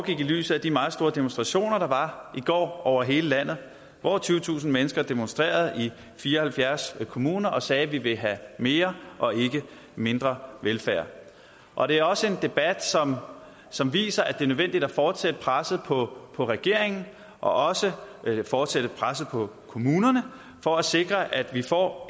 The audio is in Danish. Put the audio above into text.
i lyset af de meget store demonstrationer der var i går over hele landet over tyvetusind mennesker demonstrerede i fire og halvfjerds kommuner og sagde vi vil have mere og ikke mindre velfærd og det er også en debat som viser at det er nødvendigt at fortsætte presset på regeringen og også fortsætte presset på kommunerne for at sikre at vi får